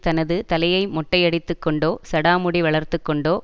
தனது தலையை மொட்டையடித்துக் கொண்டோ சடாமுடி வளர்த்து கொண்டோ